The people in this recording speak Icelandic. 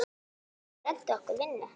Geturðu reddað okkur vinnu?